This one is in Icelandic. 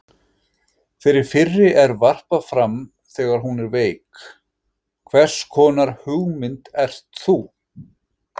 Þeirri fyrri er varpað fram þegar hún er veik: HVERS KONAR HUGMYND ERT ÞÚ?